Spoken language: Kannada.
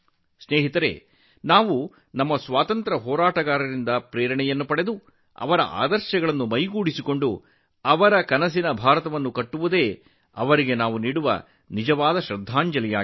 ಸ್ನೇಹಿತರೇ ನಾವು ನಮ್ಮ ಸ್ವಾತಂತ್ರ್ಯ ಹೋರಾಟಗಾರರಿಂದ ಸ್ಫೂರ್ತಿ ಪಡೆದು ಅವರ ಆದರ್ಶಗಳನ್ನು ಅನುಸರಿಸೋಣ ಮತ್ತು ಅವರ ಕನಸಿನ ಭಾರತವನ್ನು ನಿರ್ಮಿಸೋಣ ಇದು ಅವರಿಗೆ ನಾವು ನೀಡುವ ಗೌರವವಾಗಿದೆ